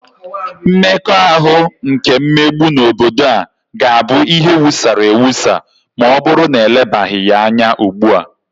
Mmekọahụ nke mmegbu n'obodo a ga-abụ ihe wusara ewusa ma ọbụrụ na elebaghị ya anya ugbua